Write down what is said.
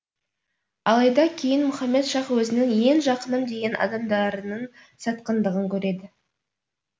алайда кейін мұхаммед шах өзінің ең жақыным деген адамдарының сатқындығын көреді